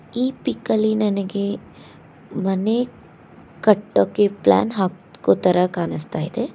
ಈ ಪಿಕ್ ಅಲ್ಲಿ ನನಗೆ ಮನೆ ಕಟ್ಟೋಕೆ ಪ್ಲಾನ್ ಹಾಕುವುದರ ತರ ಕಾಣುಸ್ತಾ ಇದೆ.